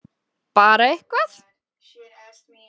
Bara eitthvað!!!